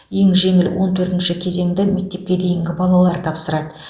ең жеңіл он төртінші кезеңді мектепке дейінгі балалар тапсырады